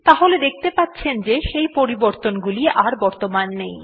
তাহলে দেখতে পাচ্ছেন যে সেই পরিবর্তনগুলো আর বর্তমান নেই